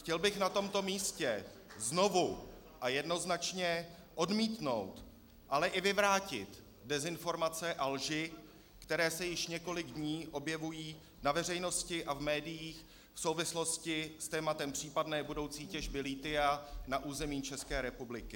Chtěl bych na tomto místě znovu a jednoznačně odmítnout, ale i vyvrátit dezinformace a lži, které se již několik dní objevují na veřejnosti a v médiích v souvislosti s tématem případné budoucí těžby lithia na území České republiky.